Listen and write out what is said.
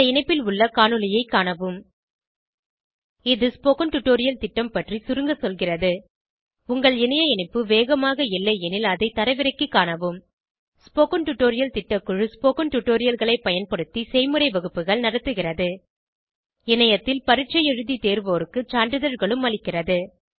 இந்த இணைப்பில் உள்ள காணொளியைக் காணவும் httpspoken tutorialorgWhat is a Spoken Tutorial இது ஸ்போகன் டுடோரியல் திட்டம் பற்றி சுருங்க சொல்கிறது உங்கள் இணைய இணைப்பு வேகமாக இல்லையெனில் அதை தரவிறக்கிக் காணவும் ஸ்போகன் டுடோரியல் திட்டக்குழு ஸ்போகன் டுடோரியல்களைப் பயன்படுத்தி செய்முறை வகுப்புகள் நடத்துகிறது இணையத்தில் பரீட்சை எழுதி தேர்வோருக்கு சான்றிதழ்களும் அளிக்கிறது